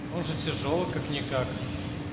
может тяжёлый как-никак